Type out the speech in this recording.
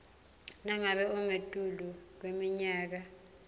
nangabe ungetulu kweminyaka